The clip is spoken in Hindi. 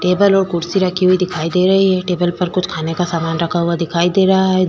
टेबल और कुर्सी रखी हुई दिखाई दे रही हैं। टेबल पर कुछ खाने का सामान रखा हुआ दिखाई दे रहा है।